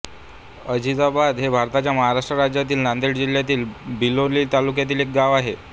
अझीझाबाद हे भारताच्या महाराष्ट्र राज्यातील नांदेड जिल्ह्यातील बिलोली तालुक्यातील एक गाव आहे